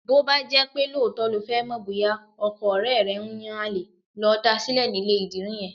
Bó bá jẹ́ lóòótọ́ lo fẹ́ mọ̀ bóyá ọkọ ọ̀rẹ́ rẹ̀ ń yan àlè, lọ da sílẹ̀ nílé ìdìrí yẹn.